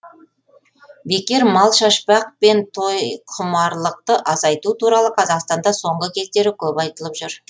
бекер мал шашпақ пен тойқұмарлықты азайту туралы қазақстанда соңғы кездері көп айтылып жүр